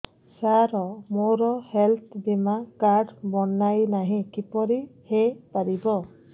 ସାର ମୋର ହେଲ୍ଥ ବୀମା କାର୍ଡ ବଣାଇନାହିଁ କିପରି ହୈ ପାରିବ